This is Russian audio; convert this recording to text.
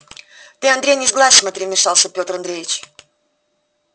ты андрей не сглазь смотри вмешался петр андреевич